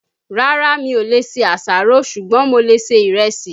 Rárá, mi ò lè ṣe àṣàrò, ṣùgbọ́n mo lè ṣe ìrẹsì